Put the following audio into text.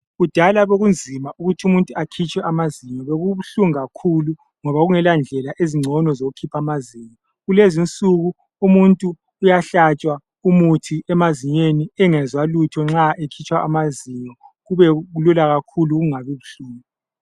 Kudala bekunzima ukuthi umuntu akhitshwe amazinyo bekubuhlungu kakhulu ngoba kungela ndlela ezingcono zokukhipha amazinyo kulezinsuku umuntu uyahlatshwa umuthi emazinyweni engezwa lutho nxa ekhitshwa amazinyo kube lula kakhulu kungabi buhlungu.